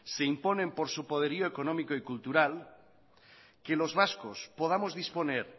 se imponen por su poderío económico y cultural que los vascos podamos disponer